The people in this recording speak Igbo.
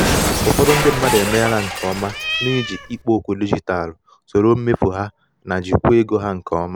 ụfọdụ um ndi mmadụ emeela nke ọma n’iji ikpo okwu dijitalụ soro mmefu ha na jikwaa um ego ha nke ọma.